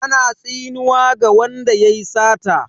Ana tsinuwa ga wanda yayi sata.